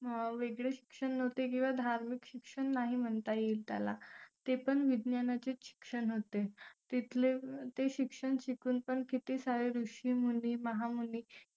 वेगळे शिक्षण नव्हते किंवा धार्मिक शिक्षण नाही म्हणता येईल त्याला ते पण विज्ञानाचे शिक्षण होते तिथले ते शिक्षण शिकून पण किती सारे ऋषीमुनी महामुनी